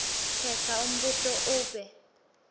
khetsa umbuto ube